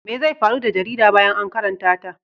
Me zai faru da jarida bayan an karanta ta?